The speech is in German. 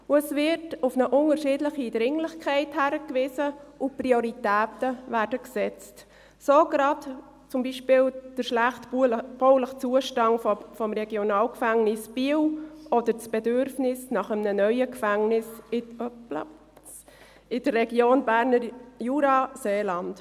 Zudem wird auf eine unterschiedliche Dringlichkeit hingewiesen, und Prioritäten werden gesetzt, so beispielsweise gerade der schlechte bauliche Zustand des RG Biel oder das Bedürfnis nach einem neuen Gefängnis in der Region Berner Jura-Seeland.